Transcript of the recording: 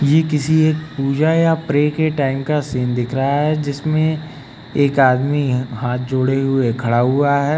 ये किसी एक पूजा या प्रे के टाइम का सीन दिख रहा है जिसमें एक आदमी हाथ जोड़े हुए खड़ा हुआ है।